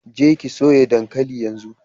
Je ki soya dankali yanzu!